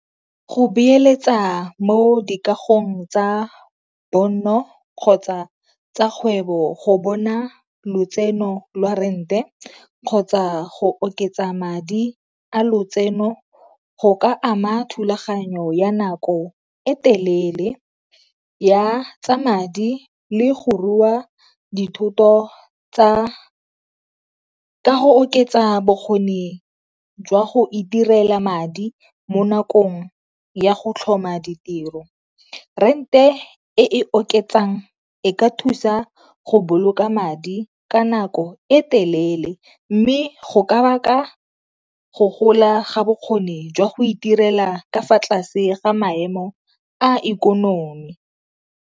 Go beeletsa mo di kagong tsa bonno kgotsa tsa kgwebo go bona lotseno lwa rent-e kgotsa go oketsa madi a lotseno go ka ama thulaganyo ya nako e telele ya tsa madi le go rua dithoto tsa, ka go oketsa bokgoni jwa go itirela madi mo nakong ya go tlhoma ditiro. Rent-e e e oketsang e ka thusa go boloka madi ka nako e telele mme go ka baka go gola ga bokgoni jwa go itirela ka fa tlase ga maemo a ikonomi.